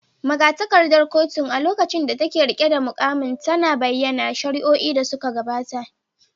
Magatakardar kotun, a lokacin da take riƙe da muƙamin, tana da bayanan shari’o’in da suka gabata.